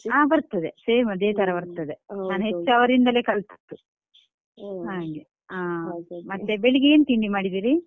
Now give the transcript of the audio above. ಹ ಬರ್ತದೆ same ಅದೇ ತರ ಬರ್ತದೆ ಹ್ಮ್ ಹೌದೌದು ನಾನ್ ಹೆಚ್ಚು ಅವರಿಂದಲೇ ಕಲ್ತದ್ದು ಹಾಗೆ ಮತ್ತೆ ಬೆಳಿಗ್ಗೆ ಏನ್ ತಿಂಡಿ ಮಾಡಿದೀರಿ?